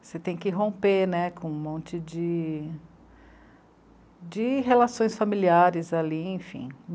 Você tem que romper né, com um monte de, de relações familiares ali, enfim.